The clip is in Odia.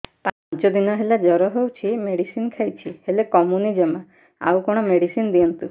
ପାଞ୍ଚ ଦିନ ହେଲା ଜର ହଉଛି ମେଡିସିନ ଖାଇଛି ହେଲେ କମୁନି ଜମା ଆଉ କଣ ମେଡ଼ିସିନ ଦିଅନ୍ତୁ